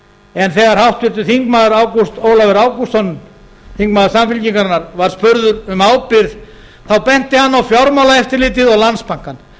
en þegar háttvirtir þingmenn ágúst ólafur ágústsson þingmaður samfylkingarinnar var spurður um ábyrgð þá benti hann á fjármálaeftirlitið og landsbankann